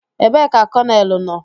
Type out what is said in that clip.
Ebee ka konelu nọ?